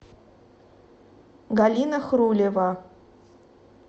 галина хрулева